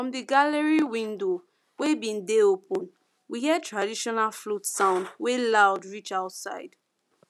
from di gallery window wey been dey open we hear traditional flute sound wey loud reach outside